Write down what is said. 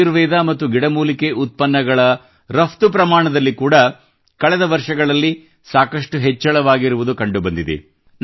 ಆಯುರ್ವೇದ ಮತ್ತು ಗಿಡಮೂಲಿಕೆ ಉತ್ಪನ್ನಗಳ ರಪ್ತು ಪ್ರಮಾಣದಲ್ಲಿ ಕೂಡಾ ಕಳೆದ ವರ್ಷಗಳಲ್ಲಿ ಸಾಕಷ್ಟು ಹೆಚ್ಚಳವಾಗಿರುವುದು ಕಂಡುಬಂದಿದೆ